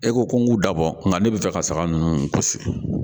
E ko ko n k'u dabɔ nka ne bɛ fɛ ka saga ninnu kosi